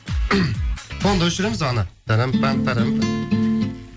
фонды өшіреміз ана тарам пам парам